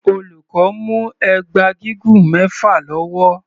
Olùkọ́ mú ẹgba gígùn mẹfa lọ́wọ́.